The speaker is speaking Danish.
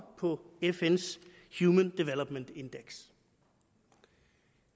på fns human development index